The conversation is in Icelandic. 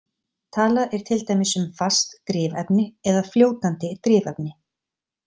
Talað er til dæmis um „fast drifefni“ eða „fljótandi drifefni“.